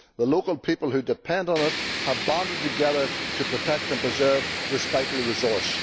The local people who depend on it have banded together to protect and preserve this vital resource.